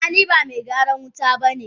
Ah ah niba Megyaran wuta bane.